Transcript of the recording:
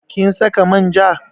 Kin saka manja?